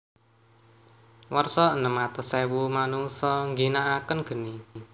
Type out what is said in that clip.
Warsa enem atus ewu manungsa ngginakaken geni